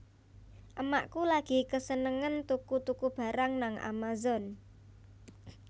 Emakku lagi kesenengen tuku tuku barang nang Amazon